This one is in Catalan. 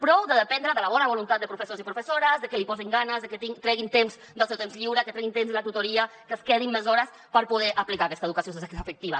prou de dependre de la bona voluntat de professors i professores de que hi posin ganes de que treguin temps del seu temps lliure que treguin temps de la tutoria que es quedin més hores per poder aplicar aquesta educació sexoafectiva